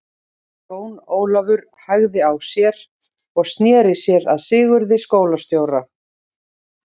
Jón Ólafur hægði á sér og sneri sér að Sigurði skólastjóra.